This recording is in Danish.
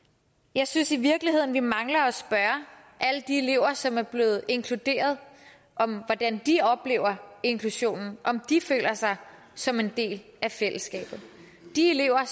jeg synes i virkeligheden vi mangler at spørge alle de elever som er blevet inkluderet om hvordan de oplever inklusionen om de føler sig som en del af fællesskabet de elever